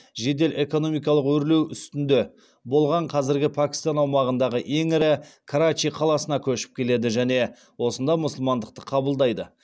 жедел экономикалық өрлеу үстінде болған қазіргі пәкістан аумағындағы ең ірі карачи қаласына көшіп келеді және осында мұсылмандықты қабылдайды